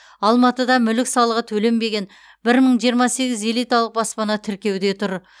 алматыда мүлік салығы төленбеген бір мың жиырма сегіз элиталық баспана тіркеуде тұр